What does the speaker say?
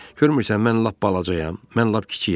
Görmürsən mən lap balacayam, mən lap kiçiyəm?